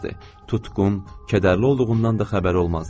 Tutqun, kədərli olduğundan da xəbəri olmazdı.